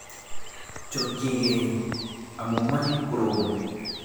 Chokchigei amu meche korobon.